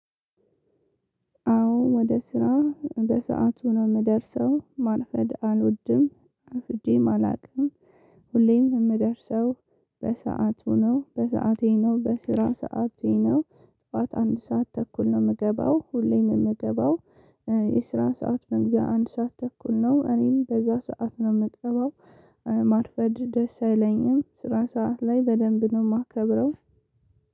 አዎ ወደ ስራ በሰአቱ ነው የምደርሰው ማርፈድ አልወድም አፍጄም አላውቅም። ሁሌም የምደርሰው በሰአቱ ነው በሰአቴ ነው በስራ ሰዓቴ ነው። ጠዋት አንድ ሰዓት ተኩል ነው የምገባው ሁሌም የምገባው። የስራ ሰዓት መንገድ አንድ ሰዓት ተኩል ነው እኔም በዛ ሰዓት ነው የምገባው። ማርፈድ ደስ አይለኝም ስራ ሰዓት ላይ በደንብ ነው የማከብረው።